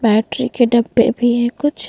Battery के डब्बे भी है कुछ।